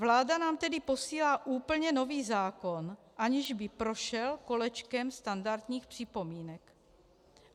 Vláda nám tedy posílá úplně nový zákon, aniž by prošel kolečkem standardních připomínek.